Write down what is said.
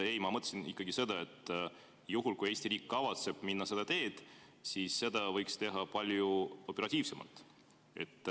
Ei, ma mõtlesin ikka seda, et juhul, kui Eesti riik kavatseb minna seda teed, siis võiks seda teha palju operatiivsemalt.